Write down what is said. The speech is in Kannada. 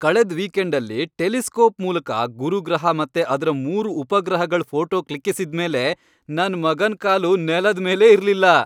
ಕಳೆದ್ ವೀಕೆಂಡಲ್ಲಿ ಟೆಲಿಸ್ಕೋಪ್ ಮೂಲಕ ಗುರು ಗ್ರಹ ಮತ್ತೆ ಅದ್ರ ಮೂರು ಉಪಗ್ರಹಗಳ್ ಫೋಟೋ ಕ್ಲಿಕ್ಕಿಸಿದ್ಮೇಲೆ ನನ್ ಮಗನ್ ಕಾಲು ನೆಲದ್ ಮೇಲೇ ಇರ್ಲಿಲ್ಲ.